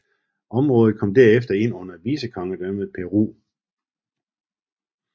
Området kom derefter ind under vicekongedømmet Peru